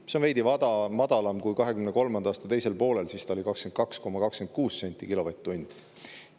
See on veidi madalam, kui oli 2023. aasta teisel poolel, siis see oli 22,26 senti kilovatt-tunni eest.